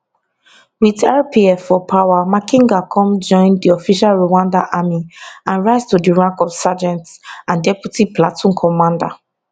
wit rpf for power makenga come join di official rwandan army and rise to di rank of sergeant and deputy platoon commander